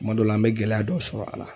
Kuma dɔ la ,an be gɛlɛya dɔ sɔrɔ a la.